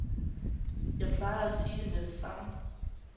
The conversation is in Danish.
Jeg plejer at sige det med det samme.